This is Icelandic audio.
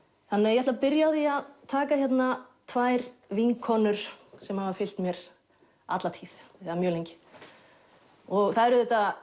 ég ætla að byrja á því að taka hérna tvær vinkonur sem hafa fylgt mér alla tíð eða mjög lengi það eru auðvitað